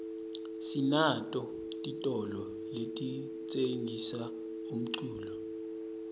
sinato titolo letitsengisa umculo